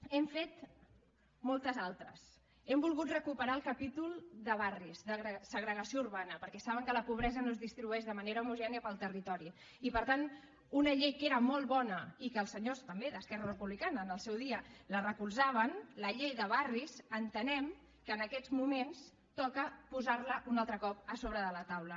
n’hem fet moltes altres hem volgut recuperar el capítol de barris de segregació urbana perquè saben que la pobresa no es distribueix de manera homogènia pel territori i per tant una llei que era molt bona i que els senyors també d’esquerra republicana en el seu dia la recolzaven la llei de barris entenem que en aquests moments toca posar la un altre cop a sobre de la taula